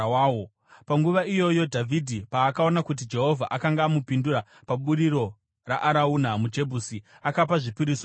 Panguva iyoyo Dhavhidhi paakaona kuti Jehovha akanga amupindura paburiro raArauna muJebhusi, akapa zvipiriso ipapo.